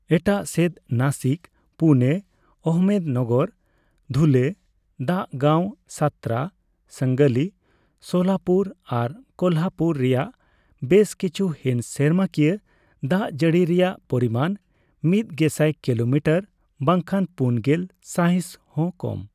ᱮᱴᱟᱜ ᱥᱮᱫ, ᱱᱟᱥᱤᱠ, ᱯᱩᱱᱮ, ᱟᱦᱚᱢᱮᱫᱱᱚᱜᱚᱨ, ᱫᱷᱩᱞᱮ, ᱫᱟᱜ ᱜᱟᱣ, ᱥᱟᱛᱨᱟ, ᱥᱟᱝᱞᱤ, ᱥᱳᱞᱟᱯᱩᱨ ᱟᱨ ᱠᱳᱞᱦᱟᱯᱩᱨ ᱨᱮᱭᱟᱜ ᱵᱮᱥ ᱠᱤᱪᱷᱩ ᱦᱤᱥ ᱥᱮᱨᱢᱟᱠᱤᱭᱟ ᱫᱟᱜᱡᱟᱲᱤ ᱨᱮᱭᱟᱜ ᱯᱚᱨᱤᱢᱟᱱ ᱢᱤᱫ ᱜᱮᱥᱟᱭ ᱠᱤᱞᱳᱢᱤᱴᱟᱨ ᱵᱟᱝᱠᱷᱟᱱ ᱔᱐ ᱥᱟᱭᱦᱤᱥ ᱦᱚᱸ ᱠᱚᱢ ᱾